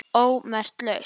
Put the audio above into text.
ómerkt lausn